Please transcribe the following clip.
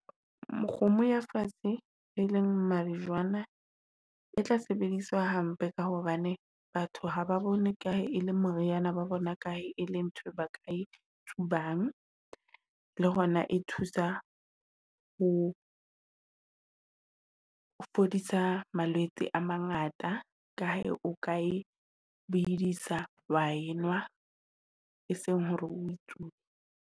Mokgomo ya fatshe e leng majwana, e tla sebediswa hampe, ka hobane batho haba bone ka e le moriana ba bona kae e le ntho ba ke tsubang. Le hona e thusa ho o fodisa malwetse a mangata ka he o ka e bedisa wa enwa, e seng hore o e tsube.